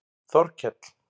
Þorkell